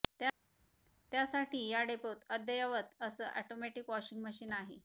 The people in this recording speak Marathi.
त्यासाठी या डेपोत अद्ययावत असं ऑटोमॅटिक वॉशिंग मशीन आहे